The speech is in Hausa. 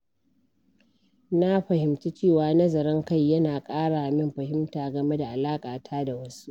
Na fahimci cewa nazarin kai yana ƙara min fahimta game da alaƙata da wasu.